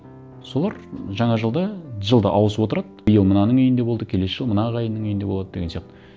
солар жаңа жылда жылда ауысып отырады биыл мынаның үйінде болды келесі жылы мына ағайынның үйінде болады деген сияқты